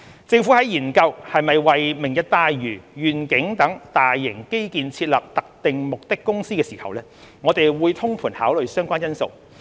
政府在研究是否為"明日大嶼願景"等大型基建設立特定目的公司時，會通盤考慮相關因素。